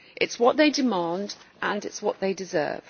It is what they demand, and it is what they deserve.